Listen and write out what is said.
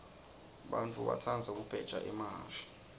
bantfu batsandza kubheja emahhashi